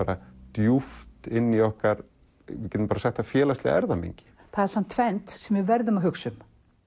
djúpt inn í okkar félagslega erfðamengi það er tvennt sem við verðum að hugsa um